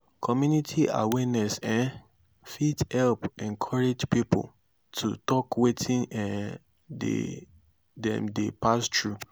community awareness um fit help encourage pipo to tok wetin um dem dey pass thru